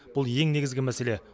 бұл ең негізгі мәселе